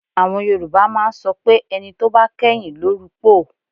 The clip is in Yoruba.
Àwọn Yorùbá máa ń sọ pé ẹni tó bá kẹ́yìn ló rupòó